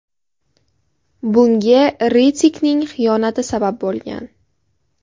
Bunga Ritikning xiyonati sabab bo‘lgan.